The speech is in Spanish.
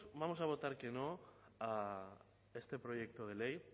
vamos a votar que no a este proyecto de ley